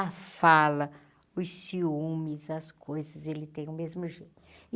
A fala, os ciúmes, as coisas, ele tem o mesmo gênio.